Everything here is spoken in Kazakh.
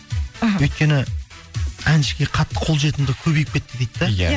мхм өйткені әншіге қатты қолжетімді көбейіп кетті дейді да иә